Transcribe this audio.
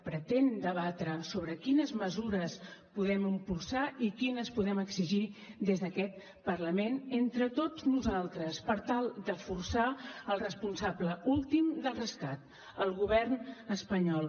pretén debatre sobre quines mesures podem impulsar i quines podem exigir des d’aquest parlament entre tots nosaltres per tal de forçar el responsable últim del rescat el govern espanyol